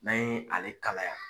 N'an ye ale kalaya